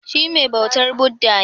Shi mai bautar Buddha ne?